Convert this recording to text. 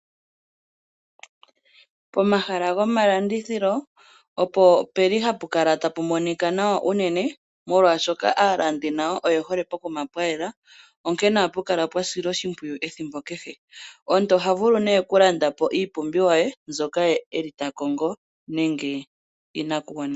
Pomahala gomalandithilo opo pelu hapu monika nawa unene. Molwashoka aalandi nayo oye hole pokuma pwa yela. Onkene ohapu kala pwa silwa oshimpwiyu ethimbo kehe. Omuntu oha vulu ne oku landa po iipumbiwa ye mbyono eli ta kongo nenge iinakugwanithwa.